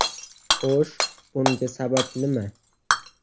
Xo‘sh, bunga sabab nima?